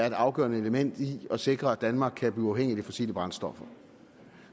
et afgørende element i at sikre at danmark kan blive uafhængig af de fossile brændstoffer